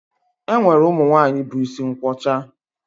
E nwere ụmụ nwaanyị bu isi nkwọcha